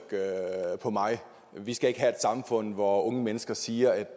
på mig vi skal ikke have et samfund hvor unge mennesker siger at